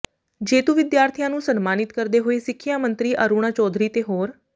ਜੇਤੂ ਵਿਦਿਆਰਥੀਆਂ ਨੰੂ ਸਨਮਾਨਿਤ ਕਰਦੇ ਹੋਏ ਸਿੱਖਿਆ ਮੰਤਰੀ ਅਰੁਣਾ ਚੌਧਰੀ ਤੇ ਹੋਰ